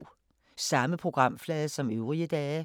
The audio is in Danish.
Samme programflade som øvrige dage